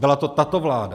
Byla to tato vláda.